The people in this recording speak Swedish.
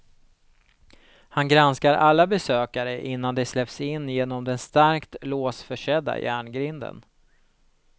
Han granskar alla besökare innan de släpps in genom den starkt låsförsedda järngrinden.